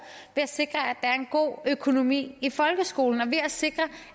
ved at sikre at der er en god økonomi i folkeskolen og ved at sikre